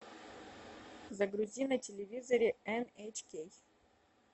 загрузи на телевизоре эн эйч кей